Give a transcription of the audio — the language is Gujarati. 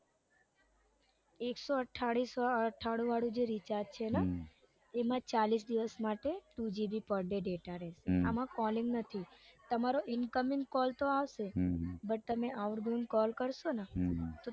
એકસો અઠ્ઠાણું વાળું જે recharge છે ને એમાં ચાલીસ દિવસ માટે two gb per day data રેસે આમ calling નથી તમારો incoming call તો આવશે બટ તમે outgoing call કરશો ને તો